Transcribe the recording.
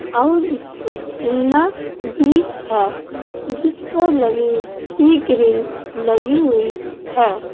और इस पर जिन्ना भी है जिस पर लवे की ग्रिल लगी हुई है।